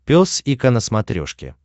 пес и ко на смотрешке